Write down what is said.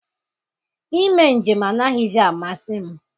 Ime njem anaghịzi amasị m.